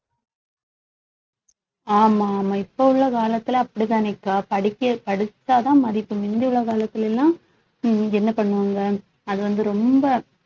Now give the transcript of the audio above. ஆமா ஆமா இப்ப உள்ள காலத்துல அப்படித்தானேக்கா படிக்க~ படிச்சாதான் மதிப்பு முந்தி உள்ள காலத்துல எல்லாம் உம் என்ன பண்ணுவாங்க அது வந்து ரொம்ப